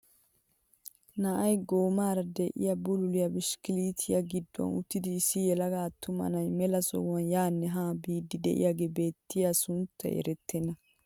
Na'ay goomaara de'iyaa bululiyaa bishikilitteessi gidduwaan uttidi issi yelaga attuma na'ay mela sohuwaan yaanne haa biidi de'iyaagee beettiyaagaa sunttay erettena.